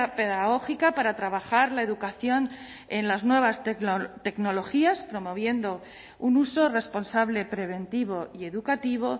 pedagógica para trabajar la educación en las nuevas tecnologías promoviendo un uso responsable preventivo y educativo